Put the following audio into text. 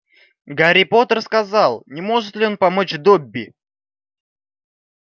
гарри поттер сказал не может ли он помочь добби